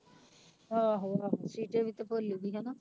ਆਹੋ ਆਹੋ ਸੀਤੇ ਦੀ ਤੇ ਭੋਲੀ ਦੀ ਹਨਾ।